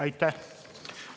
" Aitäh!